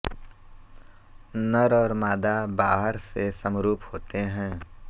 नर और मादा बाहर से समरूप होते हैं